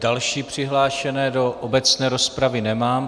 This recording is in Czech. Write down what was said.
Další přihlášené do obecné rozpravy nemám.